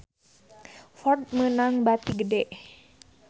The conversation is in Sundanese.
Ford meunang bati gede